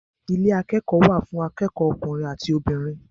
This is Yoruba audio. Ilé akẹ́kọ̀ọ́ wà fún akẹ́kọ̀ọ́ ọkùnrin àti obìnrin.